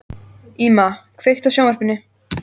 Íma, kveiktu á sjónvarpinu.